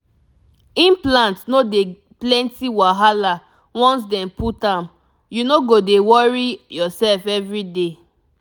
implant no dey plenty wahala once dem put am you no go dey worry yourself everyday.